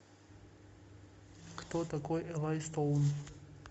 кто такой элай стоун